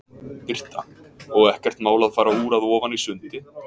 Birta: Og ekkert mál að fara úr að ofan í sundi?